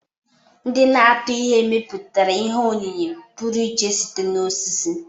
Ndị na-atụ ihe mepụtara ihe oyiyi pụrụ iche site na osisi.